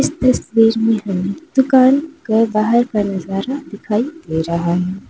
इस तस्वीर में दुकान के बाहर का नजारा दिखाई दे रहा है।